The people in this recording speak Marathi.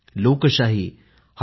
लोकशाही डॉ